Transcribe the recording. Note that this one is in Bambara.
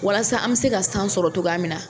Walasa an bɛ se ka san sɔrɔ togoya minna!